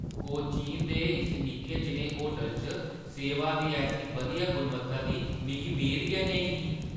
कोचीन दे इस निक्के जनेहे होटलै च सेवा दी ऐसी बधिया गुणवत्ता दी मिगी मेद गै नेईं ही ।